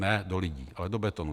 Ne do lidí, ale do betonu.